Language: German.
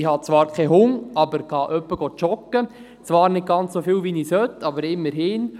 Ich habe zwar keinen Hund, aber ich gehe ab und zu joggen, zwar nicht ganz so oft wie ich sollte, aber immerhin.